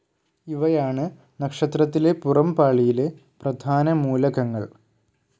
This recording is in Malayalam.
ഇവയാണ് നക്ഷത്രത്തിലെ പുറംപാളിയിലെ പ്രധാനമൂലകങ്ങൾ.